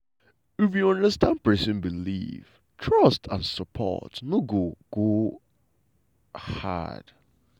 if you understand person belief trust and rapport no go go hard.